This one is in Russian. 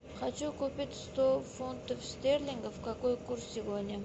хочу купить сто фунтов стерлингов какой курс сегодня